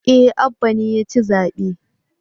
Eh Abba ne yaci zaɓe